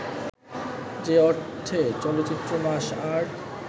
যে অর্থে চলচ্চিত্র মাস আর্ট